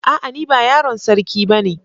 A'a ni ba yaron sarki bane.